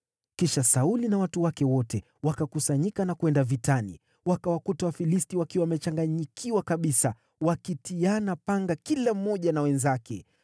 Kisha Sauli na watu wake wote wakakusanyika na kwenda vitani. Wakawakuta Wafilisti wakiwa wamechanganyikiwa kabisa, wakitiana panga kila mmoja na wenzake.